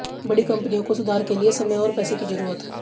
बड़ी कंपनियों को सुधार के लिए समय और पैसे की जरूरत